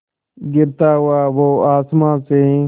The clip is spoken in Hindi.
गिरता हुआ वो आसमां से